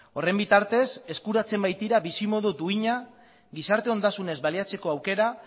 horren bitartez eskuratzen baitira bizimodu duina gizarte ondasunez baliatzeko aukera